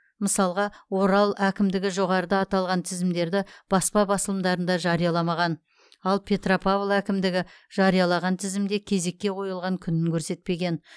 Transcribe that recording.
мысалға орал әкімдігі жоғарыда аталған тізімдерді баспа басылымдарында жарияламаған ал петропавл әкімдігі жариялаған тізімде кезекке қойылған күнін көрсетпеген